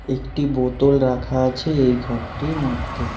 একটি বোতল রাখা আছে এই ঘরটির মধ্যে।